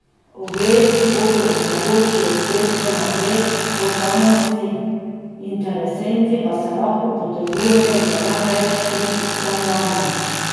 Ogledi bodo mogoči od petka naprej, posamezni interesenti pa se lahko potegujejo za največ tri stanovanja.